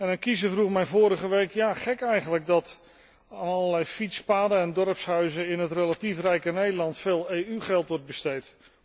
Een kiezer vroeg mij vorige week ja, gek eigenlijk dat aan allerlei fietspaden en dorpshuizen in het relatief rijke Nederland veel EU geld wordt besteed.